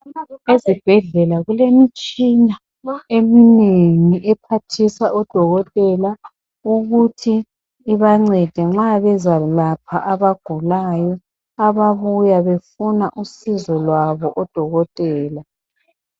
Ezibhedlela kulemitshina eminengi ephathisa odokotela ukuthi ibancede nxa bezalapha abagulayo ababuya befuna usizo lwabo odokotela.